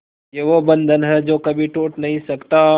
ये वो बंधन है जो कभी टूट नही सकता